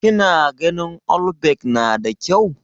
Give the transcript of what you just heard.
kina ganin allback nada kyau?